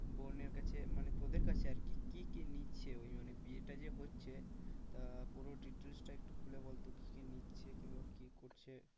বোনের কাছে মানে তোদের কাছে আর কি, কি কি নিচ্ছে ওই মানে বিয়েটা যে হচ্ছে তা পুরো details টা একটু খুলে বলতো কি কি নিচ্ছে কিংবা কি করছে?